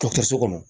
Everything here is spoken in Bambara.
Dɔkɔtɔrɔso kɔnɔ